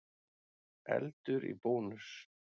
Eldur í Bónus